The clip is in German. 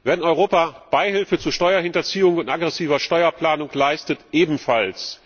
Wer in Europa Beihilfe zu Steuerhinterziehung und aggressiver Steuerplanung leistet, ebenfalls.